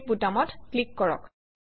save বুটামত click কৰক